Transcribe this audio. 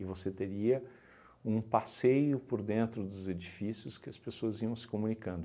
E você teria um passeio por dentro dos edifícios que as pessoas iam se comunicando.